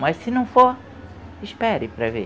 Mas se não for, espere para ver.